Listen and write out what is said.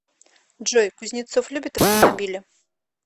джой кузнецов любит автомобили